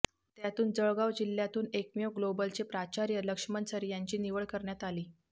त्यातून जळगाव जिल्हयातुन एकमेव ग्लोबलचे प्राचार्य लक्ष्मणसर यांची निवड करण्यात आली